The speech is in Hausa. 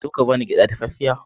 Zo ka ba ni gyaɗa dafaffiya.